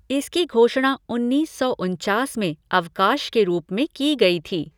इसकी घोषणा उन्नीस सौ उनचास में अवकाश के रूप में की गई थी।